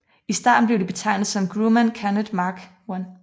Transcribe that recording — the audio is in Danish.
I starten blev de betegnet som Grumman Gannet Mark I